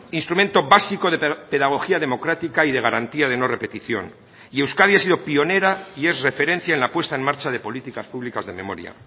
instrumento básico de pedagogía democrática y de garantía de no repetición y euskadi ha sido pionera y es referencia en la puesta en marcha de políticas públicas de memoria